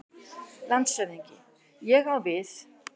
LANDSHÖFÐINGI: Ég á við.